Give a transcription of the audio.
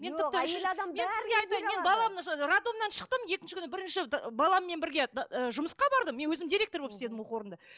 роддомнан шықтым екінші күні бірінші ы баламмен бірге ы жұмысқа бардым мен өзім директор болып істедім оқу орнында